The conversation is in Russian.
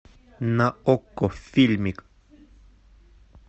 на окко фильмик